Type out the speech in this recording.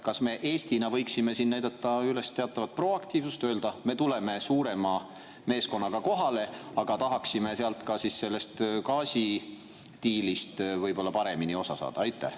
Kas Eesti võiks näidata üles teatavat proaktiivsust ja öelda, et me tuleme suurema meeskonnaga kohale, aga tahaksime ka sellest gaasidiilist võib-olla paremini osa saada?